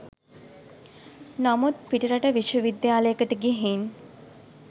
නමුත් පිටරට විශ්ව විද්‍යාලයකට ගිහින්